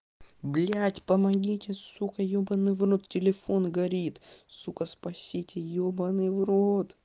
блядь помогите сука ёбаный в рот телефон горит сука спасите ёбаный в рот